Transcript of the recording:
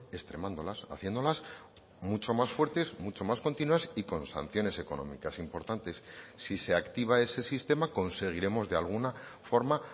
extremándolas haciéndolas mucho más fuertes mucho más continuas y con sanciones económicas importantes si se activa ese sistema conseguiremos de alguna forma